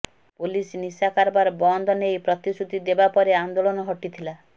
police ନିଶା କାରବାର ବନ୍ଦ ନେଇ ପ୍ରତିଶ୍ରୁତି ଦେବା ପରେ ଆନ୍ଦୋଳନ ହଟିଥିଲା